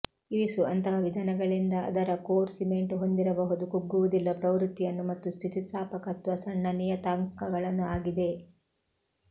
ಇರಿಸು ಅಂತಹ ವಿಧಾನಗಳಿಂದ ಅದರ ಕೋರ್ ಸಿಮೆಂಟ್ ಹೊಂದಿರಬಹುದು ಕುಗ್ಗುವುದಿಲ್ಲ ಪ್ರವೃತ್ತಿಯನ್ನು ಮತ್ತು ಸ್ಥಿತಿಸ್ಥಾಪಕತ್ವ ಸಣ್ಣ ನಿಯತಾಂಕಗಳನ್ನು ಆಗಿದೆ